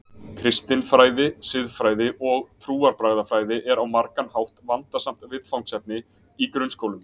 Kristin fræði, siðfræði og trúarbragðafræði er á margan hátt vandasamt viðfangsefni í grunnskólum.